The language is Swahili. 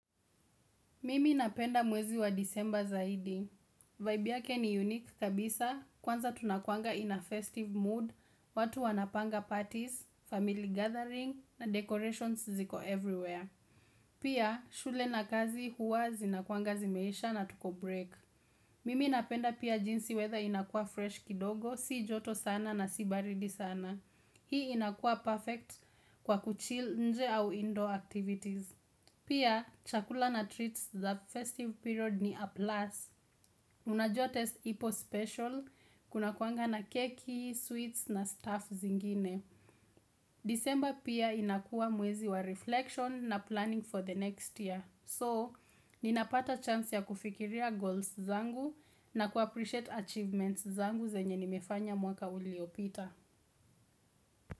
Mimi napenda mwezi wa disemba zaidi. Vibe yake ni unique kabisa, kwanza tunakuanga in a festive mood, watu wanapanga parties, family gathering, na decorations ziko everywhere. Pia, shule na kazi huwa zinakuanga zimeisha na tuko break. Mimi napenda pia jinsi wetha inakua fresh kidogo, si joto sana na si baridi sana. Hii inakua perfect kwa kuchil nje au indoor activities. Pia, chakula na treats za festive period ni a plus Unajua taste ipo special, kunakuanga na keki, sweets na stuff zingine December pia inakua mwezi wa reflection na planning for the next year So, ninapata chance ya kufikiria goals zangu na kuappreciate achievements zangu zenye nimefanya mwaka uliopita.